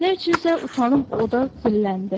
Nə üçünsə utanıb oda zilləndi.